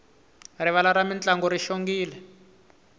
rivala ra mintlangu ri xongile